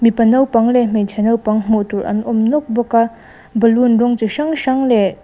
mipa naupang leh hmeichhia naupang hmuh tur an awm nawk bawk a balloon rawng chi hrang hrang leh--